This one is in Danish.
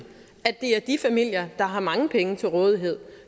at det er de familier der har mange penge til rådighed